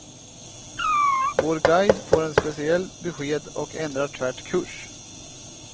Vår guide får ett speciellt besked och ändrar tvärt kurs.